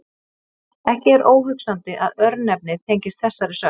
Ekki er óhugsandi að örnefnið tengist þessari sögn.